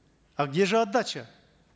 а где же отдача